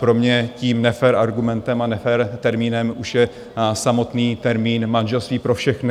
Pro mě tím nefér argumentem a nefér termínem už je samotný termín manželství pro všechny.